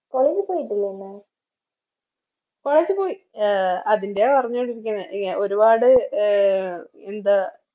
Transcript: College പോയിട്ടില്ലെ ഇന്ന് College പോയി അഹ് അതിൻറെയ പറഞ്ഞോണ്ടിരുന്നെ ഇങ്ങേ ഒരുപാട് അഹ് എന്താ